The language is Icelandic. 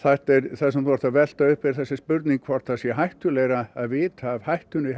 það sem þú ert að velta upp er þessi spurning hvort það sé hættulegra að vita af hættunni